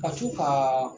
Ka co ka